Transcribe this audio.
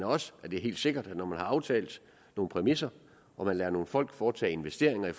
også at det er helt sikkert at når man har aftalt nogle præmisser og man lader nogle folk foretage investeringer